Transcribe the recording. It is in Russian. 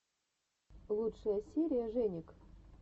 лучшая серия женек